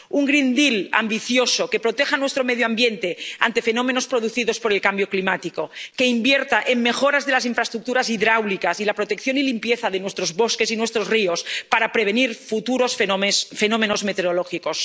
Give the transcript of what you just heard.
Un Pacto Verde ambicioso, que proteja a nuestro medio ambiente ante fenómenos producidos por el cambio climático, que invierta en mejoras de las infraestructuras hidráulicas y la protección y limpieza de nuestros bosques y nuestros ríos, para prevenir futuros fenómenos meteorológicos.